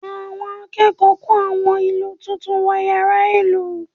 Àwọn akẹ́kọ̀ọ́ kó àwọn ìlù tuntun wọ yàrá ìlù